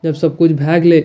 जब सब कुछ भाय गेले --